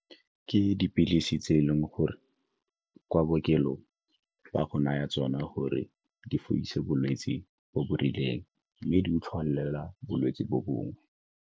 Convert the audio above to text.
Ke dipilisi tse e leng gore kwa bookelong ba go naya tsona gore di fodise bolwetse bo bo rileng mme di o tlholela bolwetse bo bongwe.